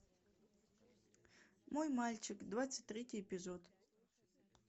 мой мальчик двадцать третий эпизод